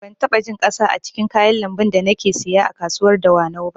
Ban taɓa jin ƙasa a cikin kayan lambun da nake siya a kasuwar dawanau ba